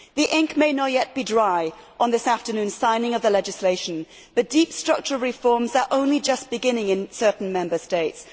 The ink may not yet be dry on this afternoon's signing of the legislation, but deep structural reforms are only just beginning in certain Member States.